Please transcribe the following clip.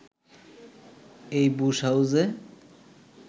এই বুশ হাউসে